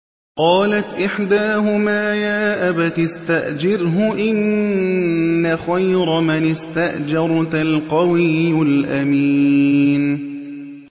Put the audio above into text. قَالَتْ إِحْدَاهُمَا يَا أَبَتِ اسْتَأْجِرْهُ ۖ إِنَّ خَيْرَ مَنِ اسْتَأْجَرْتَ الْقَوِيُّ الْأَمِينُ